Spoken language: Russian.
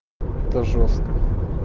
это жёстко